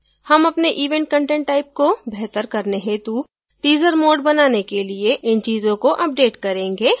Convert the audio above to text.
हम अपने event content type को बेहतर करने हेतु teaser mode बनाने के लिए इन चीजों को अपडेट करेंगे